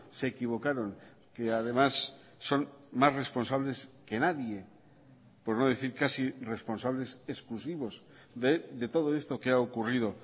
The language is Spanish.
se equivocaron que además son más responsables que nadie por no decir casi responsables exclusivos de todo esto que ha ocurrido